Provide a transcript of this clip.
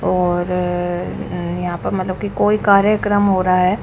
और अह यहाँ पर मतलब कि कोई कार्यक्रम हो रहा है।